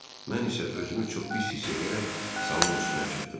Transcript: Mən isə özümü çox pis hiss eləyərək salın üstünə çıxdım.